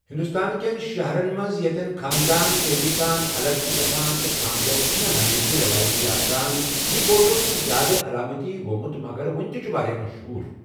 ہندوستان کٮ۪ن شہرَن منٛز یتٮ۪ن خاندان تیزی سان الگ چھِ گژھان تہٕ خانٛدر چھِنہٕ ہمیشہ رٮ۪وٲیتی آسان، یہِ بوٚڑ دۄہہ چھُ زیادٕ علامتی گوٚومُت مگر وُنہِ تہِ چھُ واریاہ مشہور۔